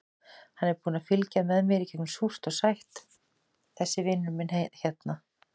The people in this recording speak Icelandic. Hann er búinn að fylgja mér í gegnum súrt og sætt, þessi vinur minn hérna.